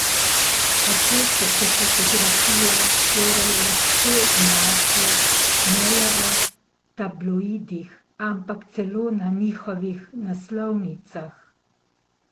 Kako so se fotografije torej lahko znašle ne le v tabloidih, ampak celo na njihovih naslovnicah?